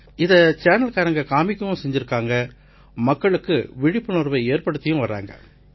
இதை சேனல்காரங்க காமிக்கவும் செஞ்சிருக்காங்க மக்களுக்கு விழிப்புணர்வை ஏற்படுத்தியும் வர்றாங்க